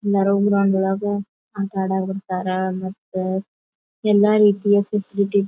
ನೆರವು ಗ್ರೌಂಡ್ ವಳಗ ಆಟ ಅಡಾಕ ಕುಂತಾರ ಮತ್ತ ಎಲ್ಲ ರೀತಿಯ ಫೆಸಿಲಿಟಿ --